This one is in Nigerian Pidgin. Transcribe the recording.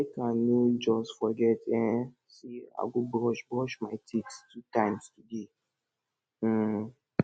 make i no just forget um sey i go brush brush my teeth two times today um